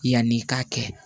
Yanni i k'a kɛ